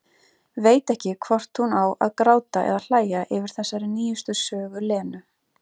Veit ekki hvort hún á að gráta eða hlæja yfir þessari nýjustu sögu Lenu.